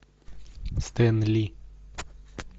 стэнли